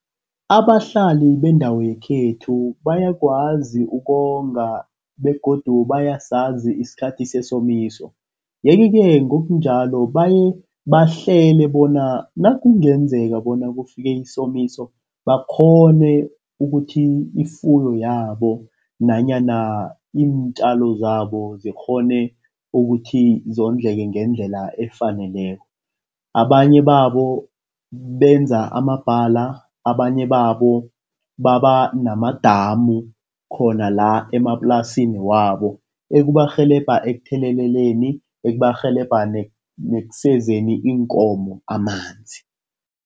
Abahlali bendawo yekhethu bayakwazi ukonga begodu bayasazi isikhathi sesomiso yeke-ke, ngokunjalo bayebahlele bona nakungenzeka bona kufike isomiso, bakghone ukuthi ifuyo yabo nanyana iintjalo zabo zikghone ukuthi wondleke ngendlela efaneleko. Abanye babo benza amabhala, abanye babo baba namadamu khona la emaplasini wabo ekubarhelebha ekutheleleleni, ekubarhelebha nekusezeni iinkomo amanzi.